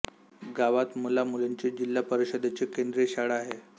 गावात मुला मुलींची जिल्हा परिषदेची केंद्रीय शाळा आहे